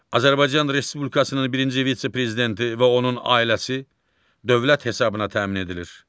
Azərbaycan Respublikasının birinci vitse-prezidenti və onun ailəsi dövlət hesabına təmin edilir.